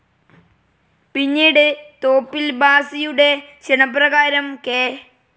പിന്നീട് തോപ്പിൽ ഭാസിയുടെ ക്ഷണപ്രകാരം കെ.